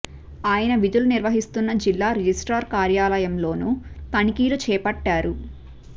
ఆయన విధులు నిర్వహిస్తున్న జిల్లా రిజిస్ట్రార్ కార్యా లయంలోనూ తనిఖీలు చేపట్టారు